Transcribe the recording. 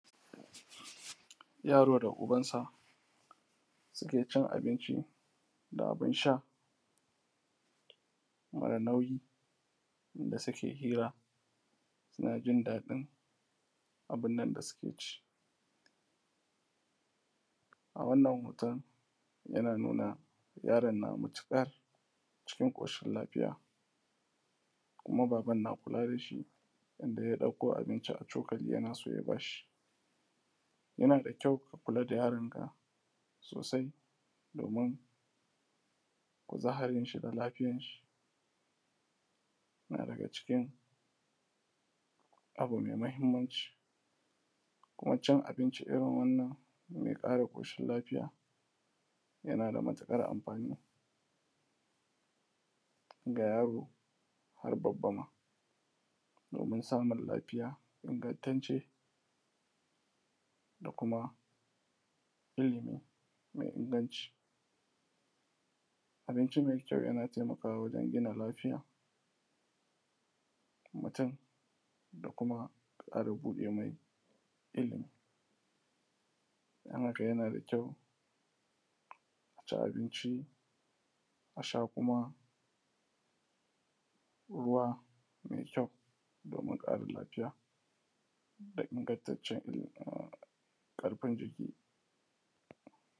yaro da uban sa suke cin abinci da abun sha mara nauyi da suke hira suna jin daɗin abun nan da suke ʧi a wannan hoton yana nuna yaron na matuƙar cikin ƙoshin lafiya kuma baban na kula da shi yanda ya ɗauko abinci a cokali yana so ya bashi yana da kyau ka kula da yaron ka sosai domin kuzarin sa da lafiyar shin a daga cikin abu mai muhimmanci kuma cin abinci irin wannan mai ƙara ƙoshin lafiya yana da matuƙar amfani ga yaro har babba ma domin samun lafiya ingantacce da kuma ilmi mai inganci abinci mai kyau yana taimakawa wajen gina lafiyar mutum da kuma ƙara buɗe mai ilmi don haka yana da kyau aci abinci a sha kuma ruwa mai kyau domin ƙarin lafiya da ingantaccen ƙarfin jiki